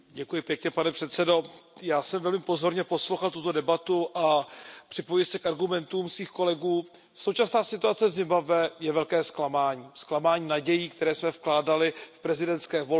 Pane předsedající, já jsem velmi pozorně poslouchal tuto debatu a připojuji se k argumentům svých kolegů. Současná situace v Zimbabwe je velké zklamání, je zklamáním nadějí, které jsme vkládali v prezidentské volby.